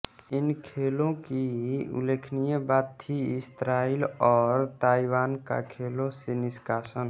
इन खेलों की उल्लेखनीय बात थी इस्राइल और ताइवान का खेलों से निष्कासन